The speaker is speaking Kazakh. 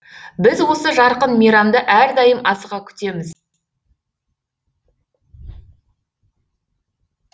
біз осы жарқын мейрамды әрдайым асыға күтеміз